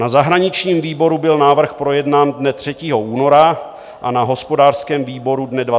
Na zahraničním výboru byl návrh projednán dne 3. února a na hospodářském výboru dne 24. února.